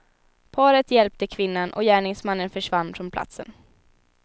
Paret hjälpte kvinnan och gärningsmannen försvann från platsen.